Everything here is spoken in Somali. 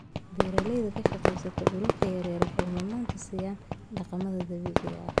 beeralayda ka shaqeeya dhulalka yaryar waxay mudnaan siiyaan dhaqamada dabiiciga ah.